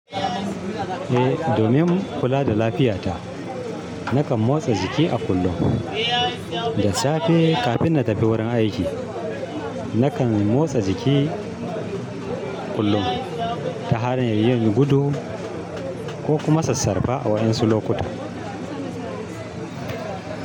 Eh domin kula da lafiyata, nakan motsa jiki a kullum da safe kafin na tafi wurin aiki. Nakan motsa jiki kullum ta hanyar yin gudu ko kuma sassarfa a wa'yansu lokuta.